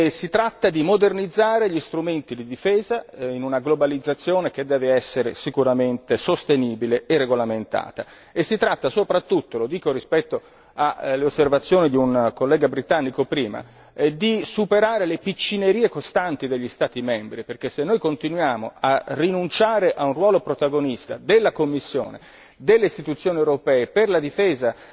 Si tratta di modernizzare gli strumenti di difesa in una globalizzazione che deve essere sicuramente sostenibile e regolamentata e si tratta soprattutto lo dico rispetto alle osservazioni di un collega britannico prima di superare le piccinerie costanti degli Stati membri, perché se noi continuiamo a rinunciare a un ruolo protagonista della Commissione, delle istituzioni europee per la difesa